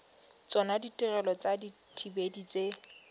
tsona ditirelo tsa dithibedi tse